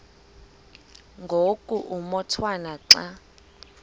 ngoku umotwana xa